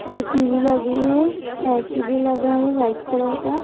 एक टी_वी लगी है ऐ_सी भी लगा है वाइट कलर का।